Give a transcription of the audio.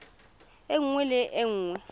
e nngwe le e nngwe